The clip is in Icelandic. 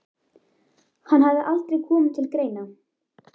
Hann hafði aldrei komið til greina.